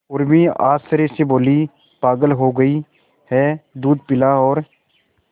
उर्मी आश्चर्य से बोली पागल हो गई है दूध पिला और